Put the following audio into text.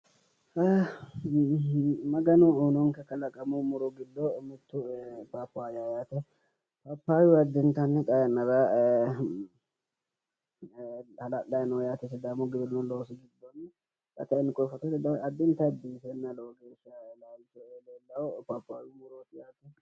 Maganu uyinonke kalaqamu muro giddo mittu paappaayyaho yaate. paappaayyu addintanni xaa yannara hala'layino yaate sidaamu giwirinnu loosi giddonni. Xa kayinni koye fotote addintayi biife loosame leellawo yaate. Paappaayyu murooti.